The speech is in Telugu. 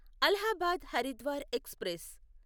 అలహాబాద్ హరిద్వార్ ఎక్స్ప్రెస్